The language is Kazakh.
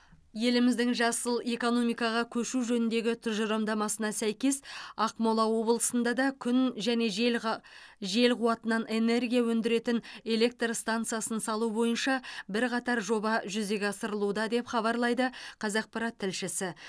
еліміздің жасыл экономикаға көшу жөніндегі тұжырымдамасына сәйкес ақмола облысында да күн және жел қы жел қуатынан энергия өндіретін электр стансасын салу бойынша бірқатар жоба жүзеге асырылуда деп хабарлайды қазақпарат тілшісі